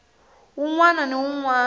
wun wana ni wun wana